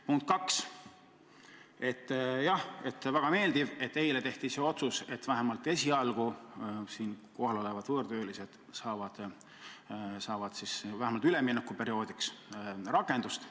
Punkt 2: jah, väga meeldiv, et eile tehti see otsus, et vähemalt esialgu saavad siin kohal olevad võõrtöölised vähemalt üleminekuperioodiks rakendust.